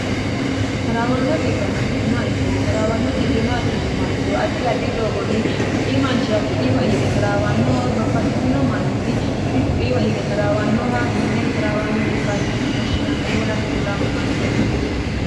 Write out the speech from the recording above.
taraawanno dhibba la'neemoha ikkiro trawanno mtinmmo ikkiro addi addi doogonni kui manchira ku'iiwa hige taraawannohawey babbaxxitino manninni kui ku'iiwa hige taraawannoha konne trawanno bie woshshinn woy hakke gigaamamanno yaate